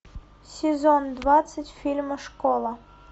сезон двадцать фильма школа